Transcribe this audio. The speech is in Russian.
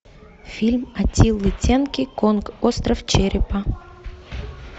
фильм атилы тенки конг остров черепа